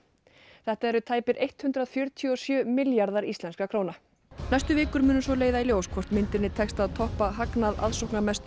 þetta eru tæpir hundrað fjörutíu og sjö milljarðar íslenskra króna næstu vikur munu svo leiða í ljós hvort myndinni tekst að toppa hagnað